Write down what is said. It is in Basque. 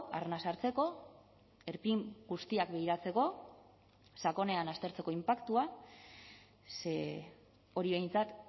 arnasa hartzeko erpin guztiak begiratzeko sakonean aztertzeko inpaktua ze hori behintzat